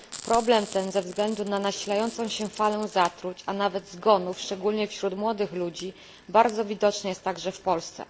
Problem ten ze względu na nasilającą się falę zatruć, a nawet zgonów, szczególnie wśród młodych ludzi, bardzo widoczny jest także w Polsce.